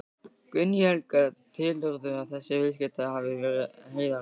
Guðný Helga: Telurðu að þessi viðskipti hafi verið heiðarleg?